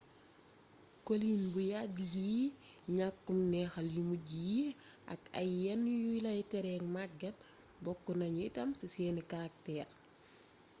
coliin bu yàgg yi ñàkkum neexal yu mujj yi ak ay yenn yuy lay tere magget bokk nañu itam ci seeni karakteer